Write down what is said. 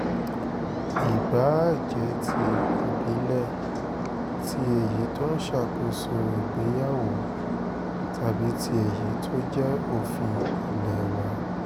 ìbáà jẹ́ ti ìbílẹ̀ tí èyí tó ń ṣàkóso ìgbéyàwó tàbí tí èyí tó jẹ́ òfin ilé wà